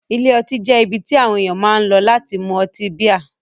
Ilé ọtí jẹ́ ibi tí àwọn ènìyàn máa ń lọ láti mú ọtí bíà.